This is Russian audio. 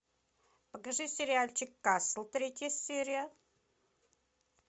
покажи сериальчик касл третья серия